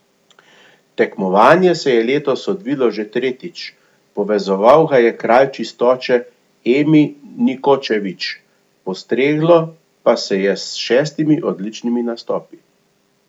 Tekmovanje se je letos odvilo že tretjič, povezoval ga je kralj čistoče Emi Nikočević, postreglo pa je s šestimi odličnimi nastopi.